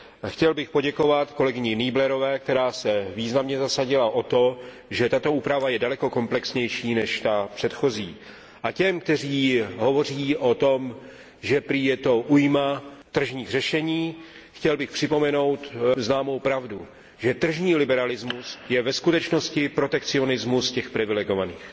Chtěl bych poděkovat kolegyni Nieblerové, která se významně zasadila o to, že tato úprava je daleko komplexnější než ta předchozí. A těm, kteří hovoří o tom, že prý je to újma tržních řešení, bych chtěl připomenout známou pravdu, že tržní liberalismus je ve skutečnosti protekcionismus těch privilegovaných.